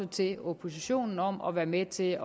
til oppositionen om at være med til